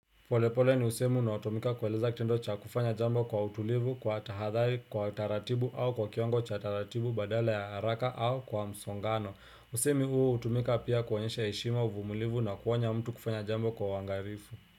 Polepole ni usemi unaotumika kueleza kitendocha kufanya jambo kwa utulivu kwa tahadhari kwa taratibu au kwa kiwango cha taratibu badala ya haraka au kwa msongano. Usemi huo utumika pia kuonyesha heshima uvumulivu na kuonya mtu kufanya jambo kwa uangarifu.